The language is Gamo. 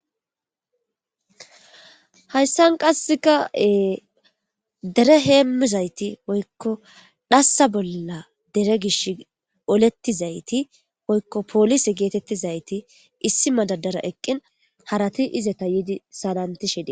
hayssan qasseka e dere heemmizayti woykko dhassa bolla dere gish olettizayti woykko poolise geetettizayti issi madadara eqqin harati izeta yidi salantishe di